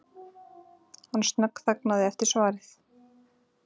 Hann snöggþagnaði eftir svarið.